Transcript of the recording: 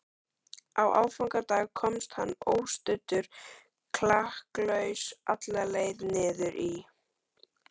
Á aðfangadag komst hann óstuddur klakklaust alla leið niður í